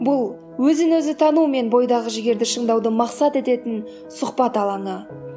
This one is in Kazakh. бұл өзін өзі тану мен бойдағы жігерді шыңдауды мақсат ететін сұхбат алаңы